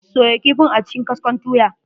Soya kifin a cikin gwaskon tuya.